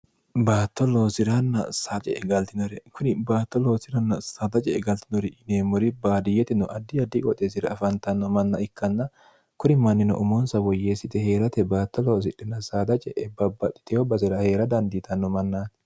baatto loosi'ranna saace e galtinore kuni baatto loosiranna saadace e galtinori yineemmori baadiyyetino addi addi qoxe sira afantanno manna ikkanna kuri mannino umonsa woyyeessite hee'rate baatto loosidhinna saadace'e babbadhiteeyo basira hee'ra dandiitanno mannaati